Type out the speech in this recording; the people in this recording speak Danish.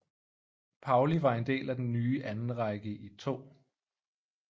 Pauli var en del af den nye andenrække i 2